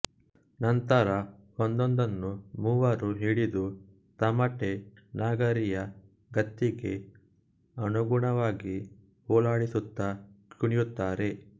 ನಂತರ ಒಂದೊಂದನ್ನು ಮೂವರು ಹಿಡಿದು ತಮಟೆ ನಗಾರಿಯ ಗತ್ತಿಗೆ ಅನುಗುಣವಾಗಿ ಓಲಾಡಿಸುತ್ತಾ ಕುಣಿಯುತ್ತಾರೆ